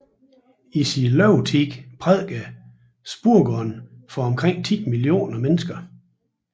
I sin levetid prædikede Spurgeon for omkring 10 millioner mennesker